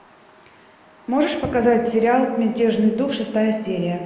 можешь показать сериал мятежный дух шестая серия